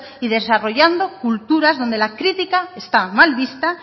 y desarrollando culturas donde la crítica está mal vista